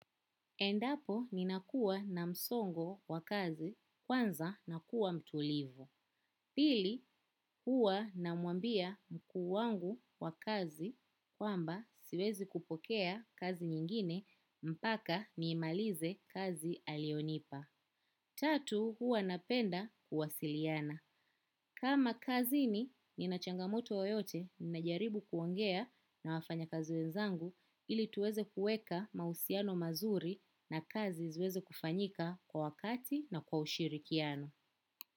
Endapo ni nakuwa na msongo wa kazi kwanza na kuwa mtulivu. Pili huwa na mwambia mkuu wangu wa kazi kwamba siwezi kupokea kazi nyingine mpaka niimalize kazi alionipa. Tatu huwa napenda kuwasiliana. Kama kazi ni, ninachanga moto yoyote, ninajaribu kuongea na wafanya kazi we nzangu ili tuweze kuweka mahusiano mazuri na kazi ziweze kufanyika kwa wakati na kwa ushirikiano.